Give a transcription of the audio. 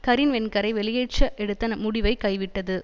கரின் வென்கரை வெளியேற்ற எடுத்த முடிவை கைவிட்டது